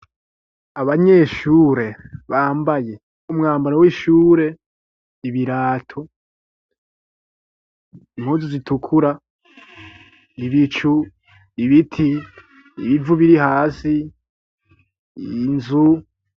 Abanyeshure bambaye umwambaro w'ishure ,ibirato, impunzu ,zitukura, ibicu ibiti ,ibivu biri hasi, inzu.